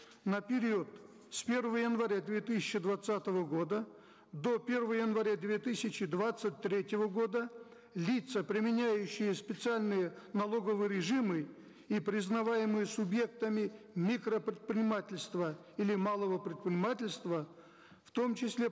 на период с первого января две тысячи двадцатого года до первого января две тысячи двадцать третьего года лица применяющие специальные налоговые режимы и признаваемые субъектами микропредпринимательства или малого предпринимательства в том числе